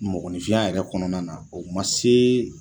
Mɔgɔninfinya yɛrɛ kɔnɔna na o man se